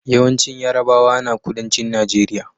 Yawancin yarabawa na kudancin nageria